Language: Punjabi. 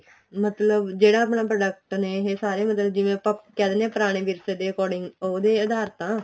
ਮਤਲਬ ਜਿਹੜਾ ਆਪਣਾ product ਨੇ ਇਹ ਸਾਰੇ ਮਤਲਬ ਜਿਵੇਂ ਆਪਾਂ ਕਹਿ ਦਿੰਨੇ ਆ ਪੁਰਾਣੇ ਵਿਰਸੇ ਦੇ according ਉਹਦੇ ਅਧਾਰ ਤਾਂ